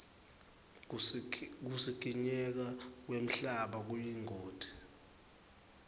kusikinyeka kwemhlaba kuyingoti